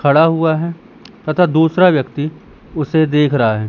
खड़ा हुआ है तथा दूसरा व्यक्ति उसे देख रहा है।